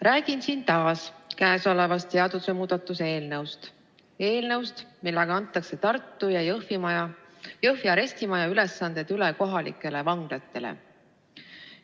Räägin siin taas käesolevast seadusemuudatusest, eelnõust, millega antakse Tartu ja Jõhvi arestimaja ülesanded üle kohalikele vanglatele.